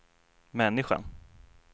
människan